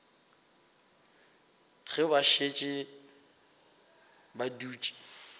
ge ba šetše ba dutše